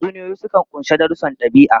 Tatsuniyoyi sukan ƙunshi darussan ɗabi'a.